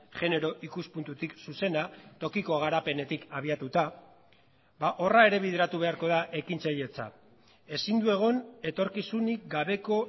genero ikuspuntutik zuzena tokiko garapenetik abiatuta horra ere bideratu beharko da ekintzailetza ezin du egon etorkizunik gabeko